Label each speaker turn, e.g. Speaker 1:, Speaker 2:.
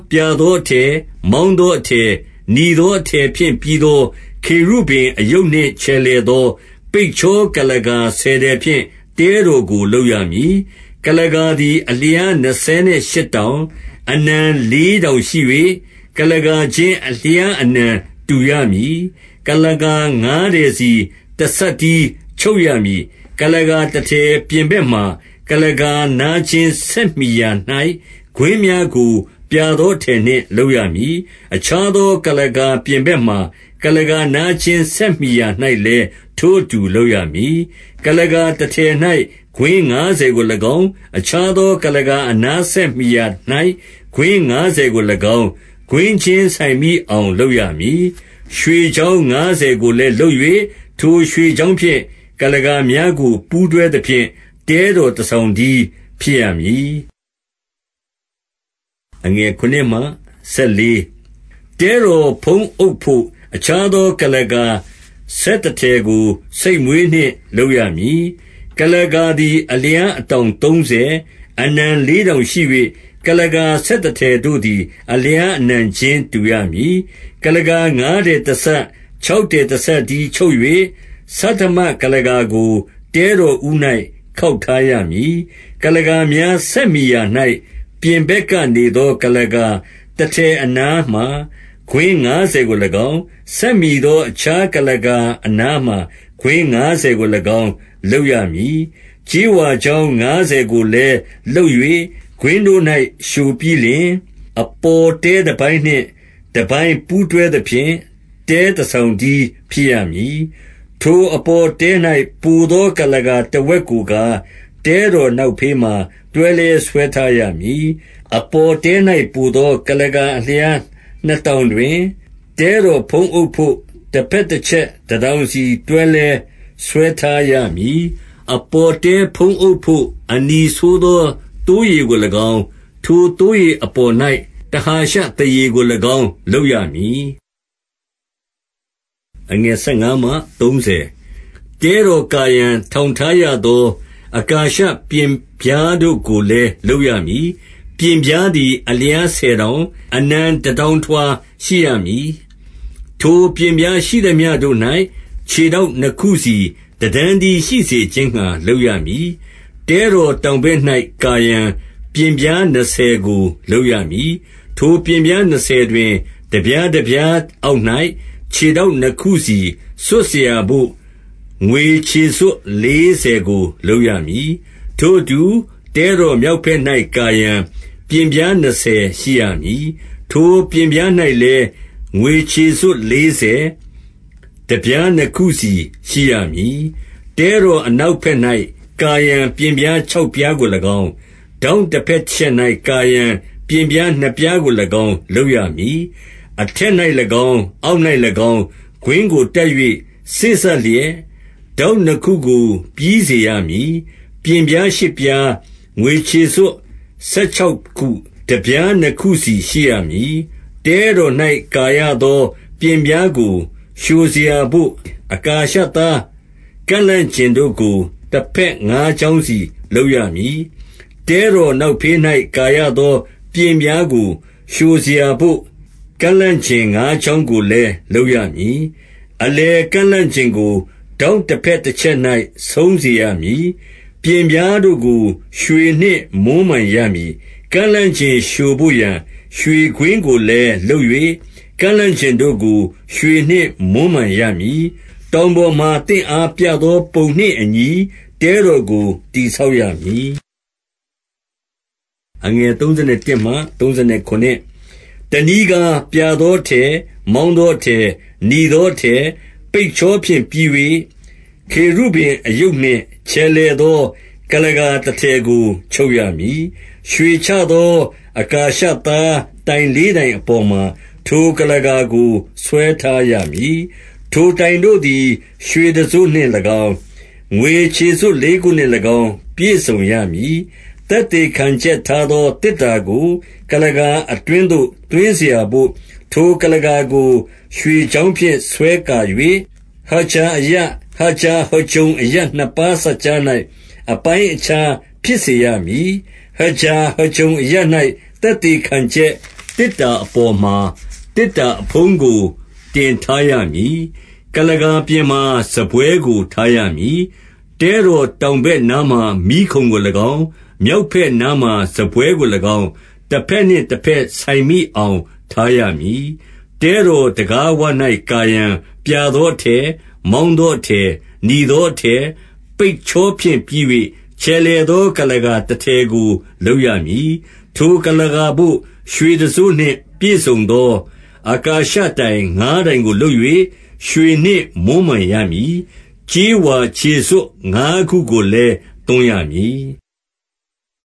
Speaker 1: ပြာသောအထည်၊ မောင်းသောအထည်၊ နီသောအထည်ဖြင့် ပြီးသော ခေရုဗိမ်အရုပ်နှင့် ချယ်လှယ်သော၊ ပိတ်ချောကုလားကာဆယ်ထည်ဖြင့် တဲတော်ကို လုပ်ရမည်။ 2 ကုလားကာသည် အလျားနှစ်ဆယ်ရှစ်တောင်၊ အနံလေးတောင်ရှိ၍၊ ကုလားကာချင်း အလျားအနံ တူရမည်။ 3 ကုလားကာငါးထည်စီ တစပ်တည်းချုပ်ရမည်။ 4 ကုလားကာတထည်ပြင်ဘက်မှာ၊ ကုလားကာနားချင်းဆက်မှီရာ၌ ကွင်းများကို ပြာသောအထည်နှင့် လုပ်ရမည်။ အခြားသော ကုလားကာ ပြင်ဘက်မှာ၊ ကုလားကာနားချင်း ဆက်မှီရာ၌လည်း ထိုအတူလုပ်ရမည်။ 5 ကုလားကာတထည်၌ ကွင်းငါးဆယ်ကို၎င်း၊ အခြားသောကုလားကာ အနားဆက်မှီရာ၌ ကွင်းငါးဆယ် ကို၎င်း၊ ကွင်းချင်းဆိုင်မိအောင် လုပ်ရမည်။ 6 ရွှေချောင်းငါးဆယ်ကိုလည်း လုပ်၍၊ ထိုရွှေချောင်းဖြင့် ကုလားကာများကို ပူးတွဲသဖြင့်၊ တဲတော် တဆောင်တည်း ဖြစ်ရမည်။ 7 တဲတော်ဖုံးအုပ်ဘို့ အခြားသော ကုလားကာဆယ်တထည်ကို ဆိတ်မွေးနှင့် လုပ်ရမည်။ 8 ကုလားကာသည် အလျားအတောင်သုံးဆယ်၊ အနံလေးတောင်ရှိ၍၊ ကုလားကာ ဆယ်တထည်တို့သည် အလျားအနံချင်းတူရမည်။ 9 ကုလားကာငါးထည် တစပ်၊ ခြောက်ထည် တစပ်တည်း ချုပ်၍၊ ဆဌမကုလားကာကို တဲတော်ဦး၌ ခေါက်ထားရမည်။ 10 ကုလားကာများ ဆက်မှီရာ၌၊ ပြင်ဘက်ကနေသော ကုလားကာတထည်အနားမှာ၊ ကွင်းငါးဆယ်ကို ၎င်း၊ ဆက်မှီသော အခြားကုလားကာအနားမှာ၊ ကွင်းငါးဆယ်ကို၎င်း လုပ်ရမည်။ 11 ကြေးဝါချောင်း ငါးဆယ်ကိုလည်း လုပ်၍၊ ကွင်းတို့၌ လျှိုပြီးလျှင်၊ အပေါ်တဲတပိုင်းနှင့် တပိုင်း ပူးတွဲသဖြင့်၊ တဲတဆောင်တည်း ဖြစ်ရမည်။ 12 ထိုအပေါ်တဲ၌ ပိုသော ကုလားကာ တဝက်ကိုကား၊ တဲတော်နောက်ဖေးမှာ တွဲလွဲဆွဲထားရမည်။ 13 အပေါ်တဲ၌ပိုသော ကုလားကာ အလျားနှစ်တောင်တွင်၊ တဲတော်ဖုံးအုပ်ဘို့ တဘက်တချက် တတောင်စီ တွဲလွဲဆွဲထားရမည်။ 14 အပေါ်တဲဖုံးအုပ်ဘို့ အနီးဆုံးသောသိုးရေကို၎င်း၊ ထိုသိုးရေအပေါ်၌ တဟာရှသားရေကို၎င်း လုပ်ရမည်။ 15 တဲတော်ကာရန်ထောင်ထားရသော အကာရှပျဉ်ပြားတို့ကိုလည်း လုပ်ရမည်။ 16 ပျဉ်ပြားသည် အလျားဆယ်တောင်၊ အနံတတောင်ထွာ ရှိရမည်။ 17 ထိုပျဉ်ပြားရှိသမျှတို့၌ ခြေထောက်နှစ်ခုစီ တတန်းတည်းရှိစေခြင်းငှာ လုပ်ရမည်။ 18 တဲတော်တောင်ဘက်၌ ကာရန်ပျဉ်ပြား နှစ်ဆယ်ကို လုပ်ရမည်။ 19 ထိုပျဉ်ပြားနှစ်ဆယ်တွင်၊ တပြားတပြားအောက်၌ ခြေထောက်နှစ်ခုစီစွပ်စရာဘို့ ငွေခြေစွပ် လေးဆယ်ကို လုပ်ရမည်။ 20 ထိုအတူ တဲတော်မြောက်ဘက်၌ ကာရန်ပျဉ်ပြား နှစ်ဆယ်ရှိရမည်။ 21 ထိုပျဉ်ပြား၌လည်း ငွေခြေစွပ်လေးဆယ်၊ တပြားနှစ်ခုစီရှိရမည်။ 22 တဲတော်အနောက်ဘက်၌ ကာရန် ပျဉ်ပြားခြောက်ပြားကို၎င်း၊ 23 ထောင့်တဘက်တချက်၌ ကာရန် ပျဉ်ပြားနှစ်ပြားကို၎င်း လုပ်ရမည်။ 24 အထက်၌၎င်း၊ အောက်၌၎င်း၊ ကွင်းကိုတပ်၍ စေ့စပ်လျက် ထောင့်နှစ်ခုကို ပြီးစေရမည်။ 25 ပျဉ်ပြားရှစ်ပြား၊ ငွေခြေစွပ်ဆယ်ခြောက်ခု၊ တပြားနှစ်ခုစီ ရှိရမည်။ 26 တဲတော်၌ ကာရသော ပျဉ်ပြားကို လျှိုစရာဘို့ အကာရှသား ကန့်လန့်ကျင်တို့ကို တဘက်ငါးချောင်းစီ လုပ်ရမည်။ 27 တဲတော်နောက်ဖေး၌ ကာရသော ပျဉ်ပြားကို လျှိုစရာဘို့ ကန့်လန့်ကျင်ငါးချောင်းကိုလည်း လုပ်ရမည်။ 28 အလယ်ကန့်လန့်ကျင်ကို၊ ထောင့်တဘက်တချက်၌ ဆုံးစေရမည်။ 29 ပျဉ်ပြားတို့ကို ရွှေနှင့်မွမ်းမံရမည်။ ကန့်လန့်ကျင်လျှိုဘို့ရာ ရွှေကွင်းကိုလည်း လုပ်၍၊ ကန့်လန့်ကျင်တို့ကို ရွှေနှင့်မွမ်းမံရမည်။ 30 တောင်ပေါ်မှာ သင့်အားပြသောပုံနှင့်အညီ၊ တဲတော်ကို တည်ဆောက်ရမည်။ 31 တနည်းကား၊ ပြာသောအထည်၊ မောင်းသောအထည်၊ နီသောအထည်၊ ပိတ်ချောဖြင့်ပြီး၍၊ ခေရုဗိမ်အရုပ်နှင့် ချယ်လှယ်သော ကုလားကာတထည်ကို ချုပ်ရမည်။ 32 ရွှေချသော အကာရှသား တိုင်လေးတိုင်အပေါ်မှာ၊ ထိုကုလားကာကို ဆွဲထားရမည်။ ထိုတိုင်တို့သည် ရွှေတံစို့နှင့်၎င်း၊ ငွေခြေစွပ်လေးခုနှင့်၎င်း ပြည့်စုံရမည်။ 33 သက်သေခံချက်ထားသော သေတ္တာကို၊ ကုလားကာအတွင်းသို့ သွင်းစရာဘို့ ထိုကုလားကာကို ရွှေချောင်းဖြင့် ဆွဲကာ၍၊ ဟဂျာအရပ်၊ ဟဂျာဟဂျုံအရပ် နှစ်ပါးစပ်ကြား၌ အပိုင်းအခြား ဖြစ်ရမည်။ 34 ဟဂျာဟဂျုံ အရပ်၌ သက်သေခံချက်သေတ္တာအပေါ်မှာ၊ သေတ္တာအဖုံးကို တင်ထားရမည်။ 35 ကုလားကာပြင်မှာ စားပွဲကို ထားရမည်။ တဲတောင်တောင်ဘက်နားမှာ မီးခုံကို၎င်း၊ မြောက်ဘက်နားမှာ စားပွဲကို၎င်း၊ တဘက်နှင့်တဘက် ဆိုင်မိအောင် ထားရမည်။ 36 တဲတော်တံခါးဝ၌ ကာရန်၊ ပြာသောအထည်၊ မောင်းသောအထည်၊ နီသောအထည်၊ ပိတ်ချောဖြင့် ပြီး၍၊ ချယ်လှယ်သော ကုလားကာတထည်ကို လုပ်ရမည်။ 37 ထိုကုလားကာဘိုပ ရွှေတံစို့နှင့်ပြည့်စုံသော အကာရှတိုင်ငါးတိုင်ကို လုပ်၍ ရွှေနှင့်မွမ်းမံရမည်။ ကြေးဝါခြေစွပ်ငါးခုကိုလည်း သွန်းရမည်။